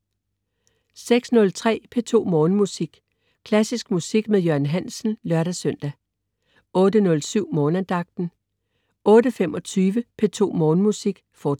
06.03 P2 Morgenmusik. Klassisk musik med Jørgen Hansen (lør-søn) 08.07 Morgenandagten 08.25 P2 Morgenmusik, fortsat